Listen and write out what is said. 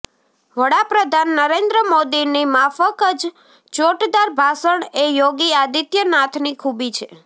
વડાપ્રધાન નરેન્દ્ર મોદીની માફક જ ચોટદાર ભાષણ એ યોગી આદિત્યનાથની ખૂબી છે